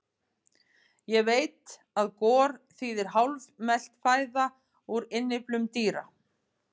Ég veit að gor þýðir hálfmelt fæða úr innyflum dýra.